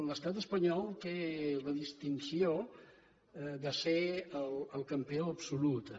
l’estat espanyol té la distinció de ser el campió absolut en